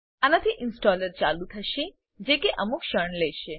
આનાથી ઇન્સ્ટોલર ચાલુ થશે જે કે અમુક ક્ષણ લેશે